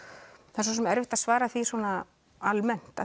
það er svo sem erfitt að svara því svona almennt